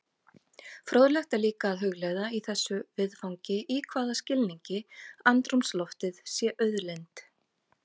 Fróðlegt er líka að hugleiða í þessu viðfangi í hvaða skilningi andrúmsloftið sé auðlind.